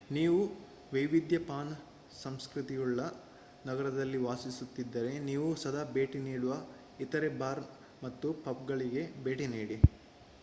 ನೀವು ವೈವಿಧ್ಯ ಪಾನ ಸಂಸ್ಕ್ರತಿಯುಳ್ಳ ನಗರದಲ್ಲಿ ವಾಸಿಸುತಿದ್ದರೆ ನೀವು ಸದಾ ಭೇಟಿ ನೀಡದ ಇತರೇ ಬಾರ್ ಮತ್ತು ಪಬ್‌ಗಳಿಗೆ ಭೇಟಿ ನೀಡಿ